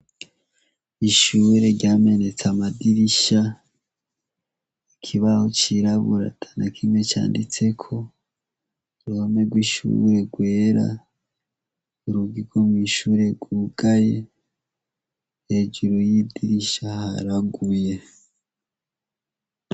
Ishure ryamenetse amadirisha ikibaho cirabura atanakimwe canditseko uruhome gw' ishure gwera urugi gwo mwishure gwugaye hejuru y' idirisha haraguye.